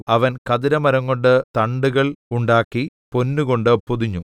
അവൻ ഖദിരമരംകൊണ്ട് തണ്ടുകൾ ഉണ്ടാക്കി പൊന്നുകൊണ്ട് പൊതിഞ്ഞു